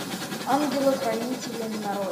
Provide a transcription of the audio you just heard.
ангелы хранители нарой